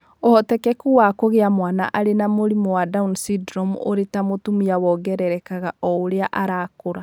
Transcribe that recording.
ũhotekeku wa kũgĩa mwana arĩ na mũrimũ wa down syndrome ũrĩ ta mũtumia wongererekaga o ũrĩa arakũra.